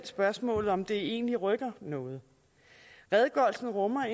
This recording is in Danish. spørgsmål om det egentlig rykker noget redegørelsen rummer